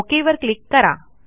okay वर click करा